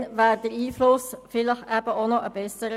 Damals wäre der Einfluss vielleicht auch besser gewesen.